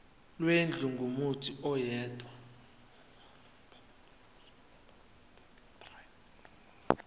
lwendlu kumuntu oyedwa